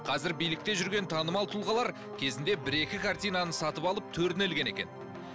қазір билікте жүрген танымал тұлғалар кезінде бір екі картинаны сатып алып төріне ілген екен